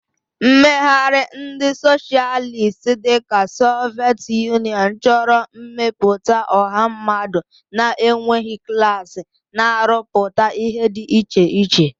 Mmegharị ndị Socialist dị ka Soviet Union chọrọ ịmepụta ọha mmadụ na-enweghị klas, na-arụpụta ihe dị iche iche.